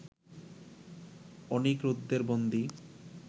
অনিরুদ্ধের বন্দী